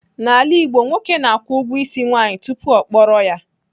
N'ala Igbo, nwoke na-akwụ ụgwọ ịsị nwaanyị tupu ọ kpọrọ ya.